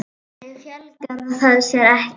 Þannig fjölgar það sér ekki.